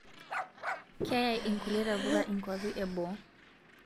Keyaii inkulie tapuka nkuapii eboo